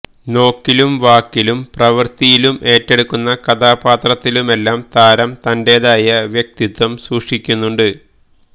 നോക്കിലും വാക്കിലും പ്രവര്ത്തിയിലും ഏറ്റെടുക്കുന്ന കഥാപാത്രത്തിലുമെല്ലാം താരം തന്റേതായ വ്യക്തിത്വം സൂക്ഷിക്കുന്നുണ്ട്